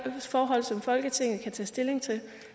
også forhold som folketinget kan tage stilling til